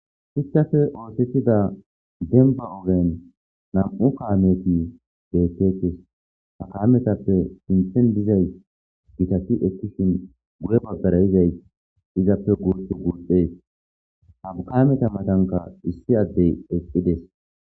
Hissafe oosettida denba ogen nam'u kaameti deettetes hakaametappe sinthen dizay gitati ekkishin guye baggara izay izappe gurs guuxees haukaameta matanka issi addey eqqides.